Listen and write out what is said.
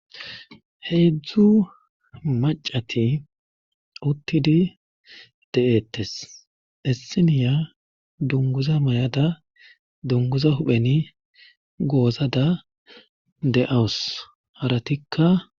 Heedzdzu macati uttidi de'ettes essiniya dunguza may'ada dunguza hupheni goozada de'awus haratikka.